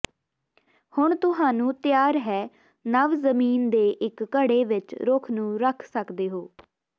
ਹੁਣ ਤੁਹਾਨੂੰ ਤਿਆਰ ਹੈ ਨਵ ਜ਼ਮੀਨ ਦੇ ਇੱਕ ਘੜੇ ਵਿੱਚ ਰੁੱਖ ਨੂੰ ਰੱਖ ਸਕਦਾ ਹੈ